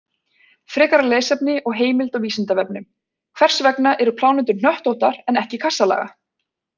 Frekara lesefni og heimild á Vísindavefnum: Hvers vegna eru plánetur hnöttóttar en ekki kassalaga?